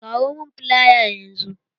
Kawo mun filaya yanzu!